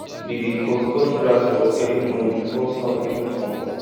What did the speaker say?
we dey cut cut grass for early morning before sun even comot